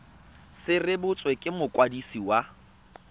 se rebotswe ke mokwadisi wa